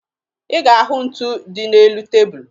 Ị ga-ahụ ntu dị n'elu tebulu